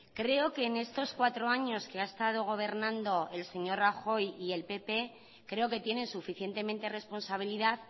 creo que en estos cuatro años que ha estado gobernando el señor rajoy y el pp creo que tienen suficientemente responsabilidad